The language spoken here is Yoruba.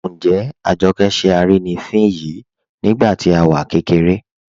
Njẹ́ Àjọkẹ́ ṣẹ́ arínifín yìí nígbàtí à wá kẹkẹ̀rẹ̀?